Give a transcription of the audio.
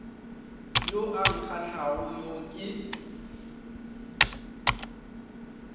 yo a nkgahlago yo ke